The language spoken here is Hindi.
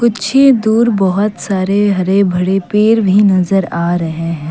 पीछे दूर बहुत सारे हरे भरे पेर भी नजर आ रहे हैं।